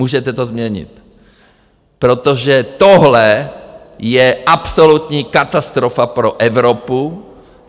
Můžete to změnit, protože tohle je absolutní katastrofa pro Evropu.